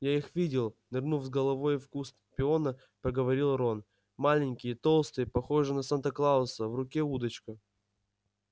я их видел нырнув с головой в куст пиона проговорил рон маленькие толстые похожие на санта-клауса в руке удочка